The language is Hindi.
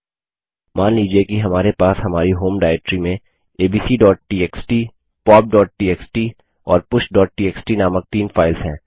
मान लीजिए कि हमारे पास हमारी होम डाइरेक्टरी में abcटीएक्सटी popटीएक्सटी और pushटीएक्सटी नामक तीन फाइल्स हैं